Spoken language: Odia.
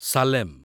ସାଲେମ